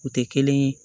U tɛ kelen ye